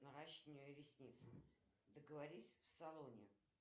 наращивание ресниц договорись в салоне